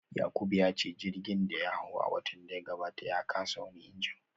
Yakubu ya ce jirgin da ya hado a watan da ya gabata ya kasa wani injin